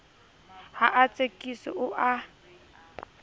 ha a tsekiswe o a